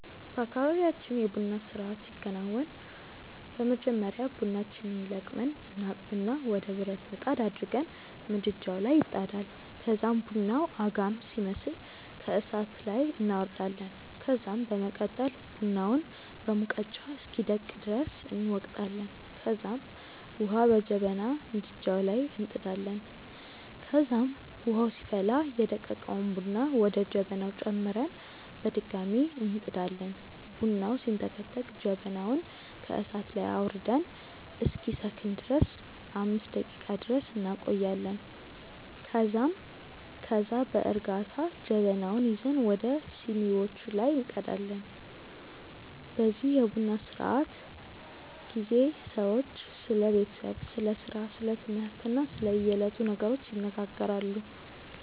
በአካባብያችን የ ቡና ስርአት ሲከናወን በመጀመሪያ ቡናችንን ለቅመን እናጥብና ወደ ብረት ምጣድ አድርገን ምድጃዉ ላይ ይጣዳል ከዛም ቡናዉ አጋም ሲመስል ከእሳት ላይ እናወርዳለን ከዛም በመቀጠል ቡናውን በሙቀጫ እስኪደቅ ድረስ እንወቅጣለንከዛም ዉሀ በጀበና ምድጃዉ ላይ እንጥዳለን ከዛም ዉሀዉ ሲፈላ ደቀቀዉን ቡና ወደ ጀበናዉ ጨምረን በድጋሚ እንጥዳለን። ቡናዉ ሲንተከተክ ጀበናዉን ከእሳት ላይ አዉርደን እስኪሰክን ድረስ 5 ደቄቃ ድረስ እንቆያለን ከዛም ከዛ በእርጋታ ጀበናዉን ይዘን ወደ ሲኒዋቹ ላይ እንቀዳለን። በዚህ የቡና ስነስርዓት ጊዜ ሰዎች ስለ ቤተሰብ፣ ስለ ስራ፣ ስለ ትምህርት እና ስለ የዕለቱ ነገሮች ይነጋገራሉ።